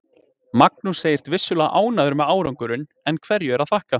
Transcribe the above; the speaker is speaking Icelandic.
Magnús segist vissulega ánægður með árangurinn, en hverju er að þakka?